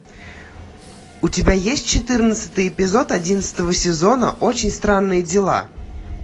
у тебя есть четырнадцатый эпизод одиннадцатого сезона очень странные дела